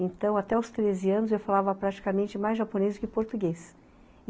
Então, até os treze anos, eu falava praticamente mais japonês do que português.